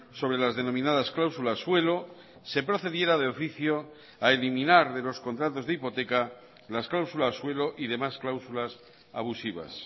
sobre las denominadas cláusulas suelo se procediera de oficio a eliminar de los contratos de hipoteca las cláusulas suelo y demás cláusulas abusivas